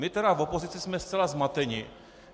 My tedy v opozici jsme zcela zmateni.